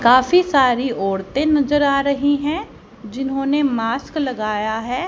काफी सारी औरतें नजर आ रही है जिन्होंने मास्क लगाए हैं।